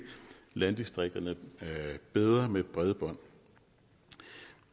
landdistrikterne bedre med bredbånd